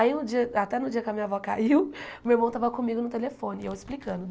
Aí no dia até no dia que a minha avó caiu, meu irmão estava comigo no telefone, e eu explicando.